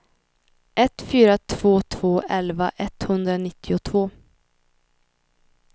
ett fyra två två elva etthundranittiotvå